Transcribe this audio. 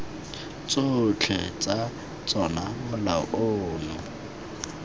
tsotlhe tsa tsona molao ono